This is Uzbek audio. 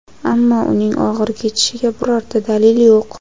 ammo uning og‘ir kechishiga birorta dalil yo‘q.